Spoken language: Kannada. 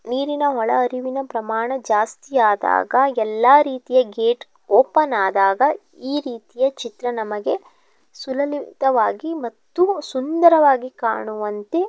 ನೀರಿನ ಒಳ ಹರಿವಿನ ಪ್ರಮಾಣ ಜಾಸ್ತಿಯಾದಾಗ ಎಲ್ಲಾ ರೀತಿಯ ಗೇಟ್ ಓಪನ್ ಆದಾಗ ಈ ರೀತಿಯ ಚಿತ್ರ ನಮಗೆ ಸುಲಲಿತವಾಗಿ ಮತ್ತು ಸುಂದರವಾಗಿ ಕಾಣುವಂತೆ --